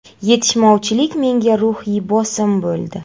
Yetishmovchilik menga ruhiy bosim bo‘ldi.